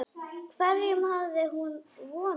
Hverjum hafði hún vonast eftir?